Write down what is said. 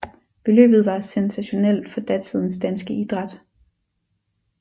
Beløbet var sensationelt for datidens danske idræt